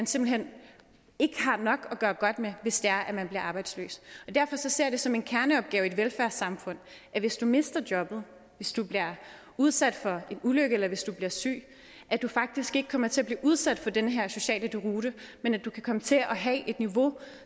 simpelt hen ikke har nok at gøre godt med hvis det er at arbejdsløse derfor ser jeg det som en kerneopgave i et velfærdssamfund at hvis du mister jobbet hvis du bliver udsat for en ulykke eller hvis du bliver syg at du faktisk ikke kommer til at blive udsat for den her sociale deroute men at du kan komme til at have et niveau